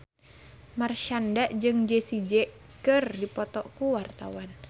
Marshanda jeung Jay Z keur dipoto ku wartawan